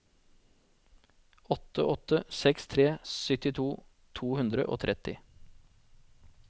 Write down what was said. åtte åtte seks tre syttito to hundre og tretti